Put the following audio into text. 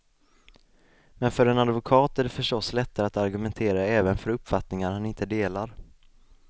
Men för en advokat är det förstås lättare att argumentera även för uppfattningar han inte delar.